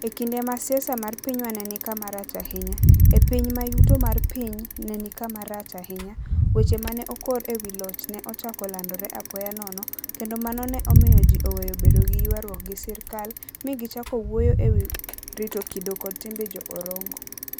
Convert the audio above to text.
E kinde ma siasa mar pinywa ne ni kama rach ahinya, e piny ma yuto mar piny ne ni kama rach ahinya, weche ma ne okor e wi loch ne ochako landore apoya nono, kendo mano ne omiyo ji oweyo bedo gi ywaruok gi sirkal, mi gichako wuoyo e wi ' rito kido kod timbe Jo - Orongo. '